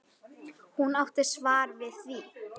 Hún átti svar við því.